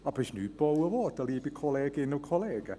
Aber es wurde nichts gebaut, liebe Kolleginnen und Kollegen.